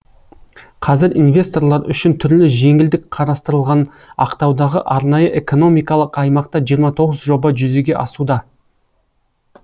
қазір инвесторлар үшін түрлі жеңілдік қарастырылған ақтаудағы арнайы экономикалық аймақта жиырма тоғыз жоба жүзеге асуда